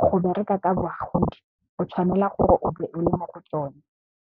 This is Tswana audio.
go bereka ka bagodi, o tshwanela gore o be o le mo go tsone.